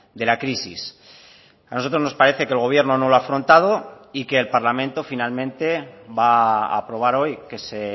de la crisis a nosotros nos parece que el gobierno no lo ha afrontado y que el parlamento finalmente va a aprobar hoy que se